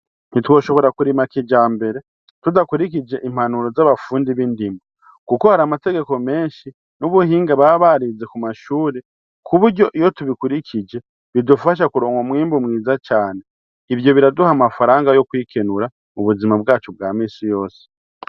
Ntitwoshobora kurima kijambere tudakurikije impanuro z'abafundi b'indimo. Kuko hari amategeko menshi n'ubuhinga baba barize ku mashuri ku buryo iyo tubikurikije bidufasha kuronka umwimbu mwiza cane. Ivyo biraduha amafaranga yo kwikenura mu buzima bwacu bwa misi yose.